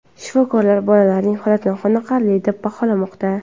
Shifokorlar bolalarning holatini qoniqarli deb baholamoqda.